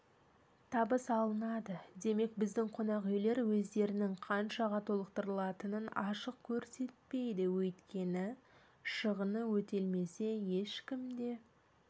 табыс алынады демек біздің қонақүйлер өздерінің қаншаға толықтырылатынын ашық көрсетпейді өйткені шығыны өтелмесе ешкім де